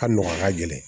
A nɔgɔ a ka gɛlɛn